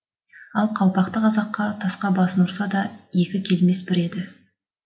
ақ қалпақты қазаққатасқа басын ұрса да екі келмес бір еді